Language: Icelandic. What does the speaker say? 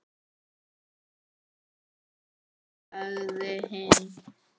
Konur sagði hinn.